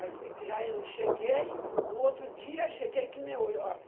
Aí eu fui, aí eu cheguei, no outro dia, cheguei que nem hoje.